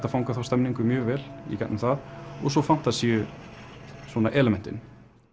að fanga þá stemningu mjög vel í gegnum það og svo fantasíu elementin